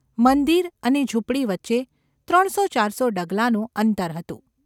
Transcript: મંદિર અને ઝૂંપડી વચ્ચે ત્રણસો ચારસો ડગલાંનું અંતર હતું.